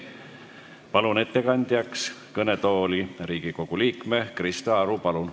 Palun ettekandeks kõnetooli Riigikogu liikme Krista Aru.